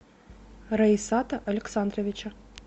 раисата александровича